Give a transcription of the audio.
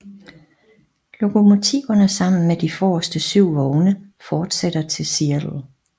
Lokomotiverne sammen med de forreste syv vogne fortsætter til Seattle